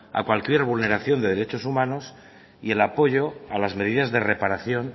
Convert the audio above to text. a cualquier vulneración de derechos humanos y el apoyo a las medidas de reparación